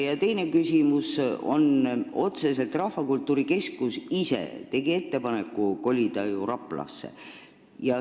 Ja teine küsimus on otseselt selle kohta, et Rahvakultuuri Keskus ise tegi ju ettepaneku kolida Raplasse.